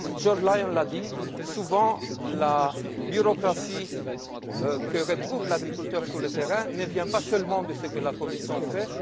Comme George Lyon l'a dit, souvent la bureaucratie que retrouve l'agriculteur sur le terrain ne provient pas seulement de ce que la Commission fait.